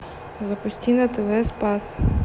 запусти на тв спас